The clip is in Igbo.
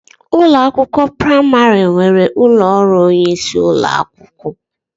Ụlọ akwụkwọ praimari nwere ụlọ ọrụ onyeisi ụlọakwụkwọ.